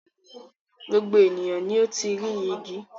Gbogbo ènìyàn ni ó ti rí igi.